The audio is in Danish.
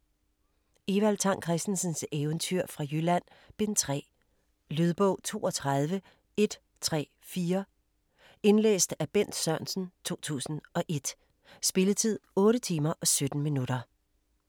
Evald Tang Kristensens Eventyr fra Jylland: Bind 3 Lydbog 32134 Indlæst af Bent Sørensen, 2001. Spilletid: 8 timer, 17 minutter.